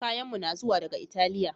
Kayanmu na zuwa daga Italiya